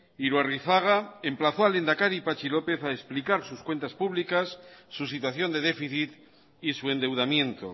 iruarrizaga emplazó al lehendakari patxi lópez a explicar sus cuentas públicas su situación de déficit y su endeudamiento